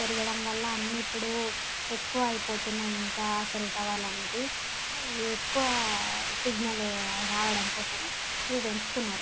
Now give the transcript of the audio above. పెరగడం వాలా అని ఇపుడు ఎక్కువైపోతున్నాయి ఇంకా సెల్ టవర్ అనేటివి ఎక్కువ సిగ్నల్ రావడం కోసము ఇగ పెంచుతున్నారు.